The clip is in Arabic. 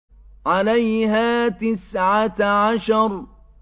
عَلَيْهَا تِسْعَةَ عَشَرَ